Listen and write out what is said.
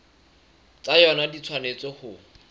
tsa yona di tshwanetse ho